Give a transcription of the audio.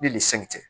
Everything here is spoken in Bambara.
Ni nin segi cɛ